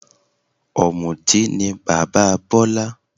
Ọ̀mùtí ni bàbá Bola